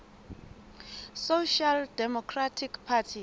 social democratic party